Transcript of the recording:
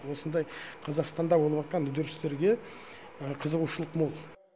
осындай қазақстанда болып жатқан үдерістерге қызығушылық мол